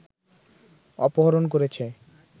অপহরণ করেছে